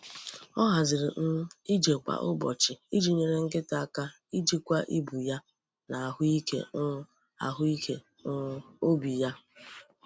Ọ haziri um ije kwa ụbọchị iji nyere nkịta aka ijikwa ibu ya na ahụ ike um ahụ ike um obi ya.